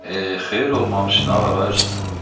Eh, xeyir olmamış nə var ay usta?